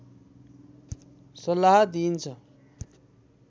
सल्लाह दिइन्छ